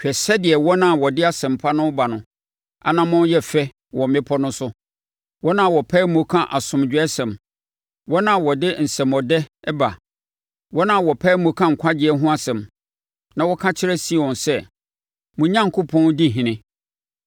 Hwɛ sɛdeɛ wɔn a wɔde asɛmpa no reba no anammɔn yɛ fɛ wɔ mmepɔ no so, wɔn a wɔpae mu ka asomdwoesɛm, wɔn a wɔde nsɛmmɔdɛ ba, wɔn a wɔpae mu ka nkwagyeɛ ho asɛm na wɔka kyerɛ Sion sɛ, “Mo Onyankopɔn di ɔhene.”